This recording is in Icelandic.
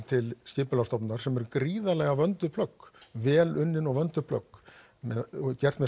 til skipulagsstofnunar sem eru gríðarlega vönduð plögg vel unnin og vöndum plögg gerð með